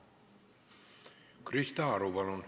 Krista Aru, palun!